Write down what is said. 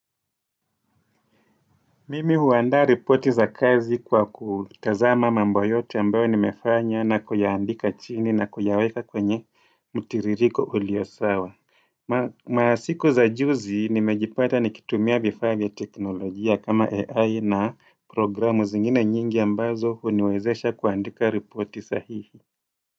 Mimi huandaa ripoti za kazi kwa kutazama mambo yote ambayo nimefanya na kuyaandika chini na kuyaweka kwenye mtiririko ulio sawa. Masiku za juzi nimejipata nikitumia vifaa vya teknolojia kama AI na programu zingine nyingi ambazo huniwezesha kuandika ripoti sahihi.